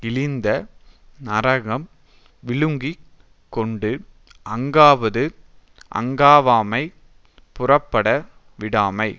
இழிந்த நரகம் விழுங்கி கொண்டு அங்காவாது அங்காவாமை புறப்பட விடாமை